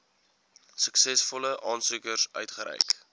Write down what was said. suksesvolle aansoekers uitgereik